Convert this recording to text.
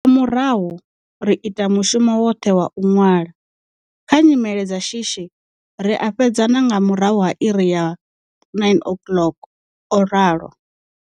Nga murahu, ri ita mushumo woṱhe wa u ṅwala. Kha nyimele dza shishi, ri a fhedza na nga murahu ha iri ya 21h00, o ralo.